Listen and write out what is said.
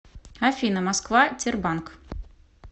афина москва тербанк